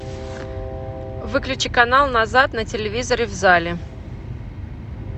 выключи канал назад на телевизоре в зале